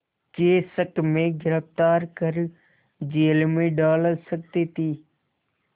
के शक में गिरफ़्तार कर जेल में डाल सकती थी